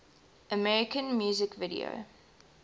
american music video